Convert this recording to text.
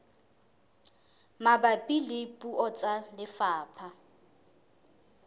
mabapi le puo tsa lefapha